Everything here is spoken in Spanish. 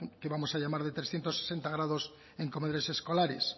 que vamos a llamar de trescientos sesenta grados en comedores escolares